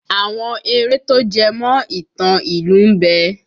Àwọn eré tó jẹmọ̀ ìtàn ìlú ń bẹ